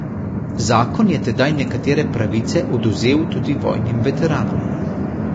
Zakon je tedaj nekatere pravice odvzel tudi vojnim veteranom.